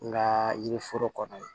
N ka yiri foro kɔnɔ